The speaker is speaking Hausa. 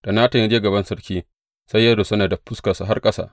Da Natan ya je gaban sarki, sai ya rusuna da fuskarsa har ƙasa.